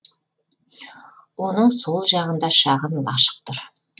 оның сол жағында шағын лашық тұр